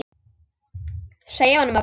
Segja honum að bíða.